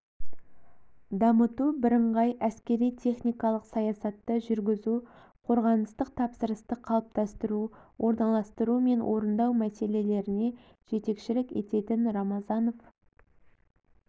дамыту бірыңғай әскери-техникалық саясатты жүргізу қорғаныстық тапсырысты қалыптастыру орналастыру мен орындау мәселелеріне жетекшілік ететін рамазанов